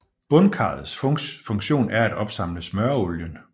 Bundkarrets funktion er at opsamle smøreolien